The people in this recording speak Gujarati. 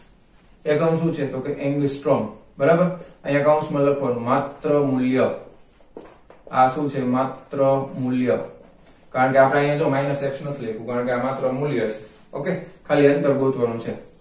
એકમ શું છે કે તો કે angstrong બરાબર અહીંયા કાઉંસ માં લખવા નું માત્ર મૂલ્ય આ શું છે માત્ર મૂલ્ય કારણ કે અપડે અહીંયા જો minus x નથી લખયો કારણકે માત્ર મૂલ્ય છે okay ખાલી h ગોતવાનો છે